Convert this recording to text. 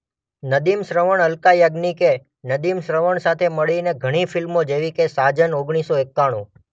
નદીમ-શ્રવણઅલકા યાજ્ઞિકે નદીમ-શ્રવણ સાથે મળીને ઘણી ફિલ્મો જેવીકે સાજન ઓગણીસ સો એકાણુ